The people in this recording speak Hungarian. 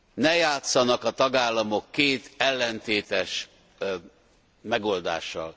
Ne játszanak a tagállamok két ellentétes megoldással.